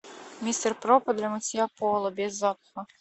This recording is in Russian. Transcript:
мистер проппер для мытья пола без запаха